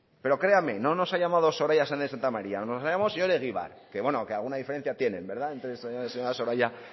pero créanme no nos ha llamado soraya sáenz de santamaría nos ha llamado el señor egibar que bueno que alguna diferencia tienen verdad entre soraya